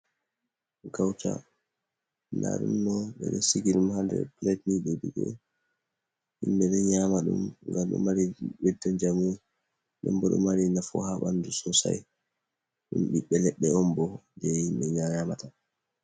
kauta dadumdo bedo siki ɗum hande plait be didi, himbe do nyama dum gam do mari bedde jamu den bo do mari nafu ha bandu sosai dum biɓbe ledde on bo je himbe yamata.